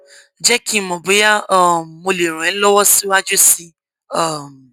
jé kí n mọ bóyá um mo lè ràn ẹ lọwọ síwájú sí um i